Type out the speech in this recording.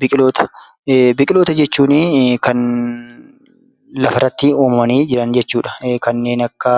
Biqiloota. Biqiloota jechuunii kan lafarratti uumamanii jiran jechuudha. Kanneen akka